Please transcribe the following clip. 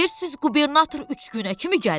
Bədər siz qubernator üç günə kimi gəlir?